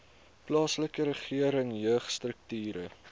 plaaslike regering jeugstrukture